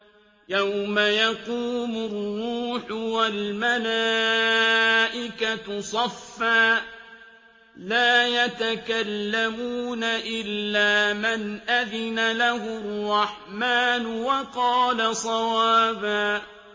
يَوْمَ يَقُومُ الرُّوحُ وَالْمَلَائِكَةُ صَفًّا ۖ لَّا يَتَكَلَّمُونَ إِلَّا مَنْ أَذِنَ لَهُ الرَّحْمَٰنُ وَقَالَ صَوَابًا